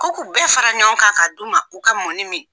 Ko k'u bɛɛ fara ɲɔgɔn kan ka d'u ma u ka mɔni min.